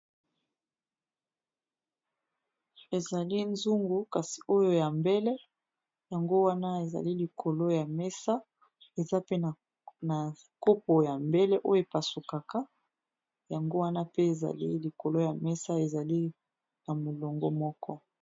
Ezali zungu kasi oyo ya mbele yango wana ezali likolo ya mesa eza pe na nkopo ya mbele oyo epasukaka yango wana pe ezali likolo ya mesa ezali na molongo moko.